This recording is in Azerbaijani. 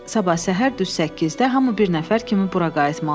Sabah səhər düz 8-də hamı bir nəfər kimi bura qayıtmalıdır.